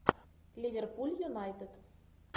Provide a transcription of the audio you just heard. ливерпуль юнайтед